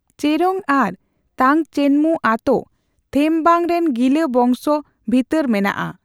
ᱪᱮᱨᱳᱝ ᱟᱨ ᱛᱟᱝᱪᱮᱱᱢᱩ ᱟᱛᱳ ᱛᱷᱮᱢᱵᱟᱝ ᱨᱮᱱ ᱜᱤᱞᱟ ᱵᱚᱝᱥᱚ ᱵᱷᱤᱛᱟᱹᱨ ᱢᱮᱱᱟᱜᱼᱟ ᱾